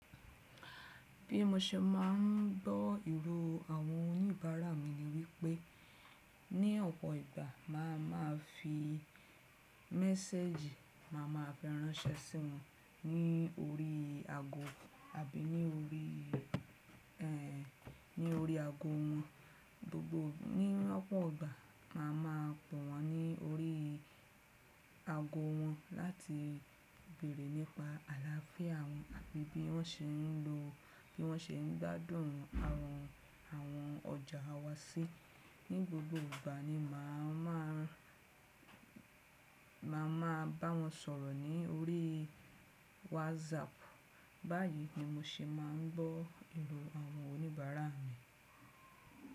Bí mo ṣe máa ń gbọ́ ìró àwọn oníbàárà mi ni wípé ní ọ̀pọ̀ ìgbà máa ma fi méséjì, màá ma fi ránṣẹ́ sí wọn ní orí ago àbí ní orí, ẹ́ n, ní orí ago wọn. Gbogbo ní ọ̀pọ̀ ìgbà mà á máa pe wọ́n ní orí ago wọn láti béèrè nípa àlàáfíà wọn àbí bí wọ́n ṣe ń lo, bí wọ́n ṣe ń gbádùn àwọn, àwọn ọjà wa sí. Ní gbogbo ìgbà ni mà á máà, mà á máa bá wọn sọ̀rọ̀ ní orí WhatsApp. Báyìí ni mo ṣe máa ń gbọ́ ìró àwọn oníbàárà mi.